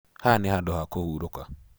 Haha nĩ handũ ha kũhurũka.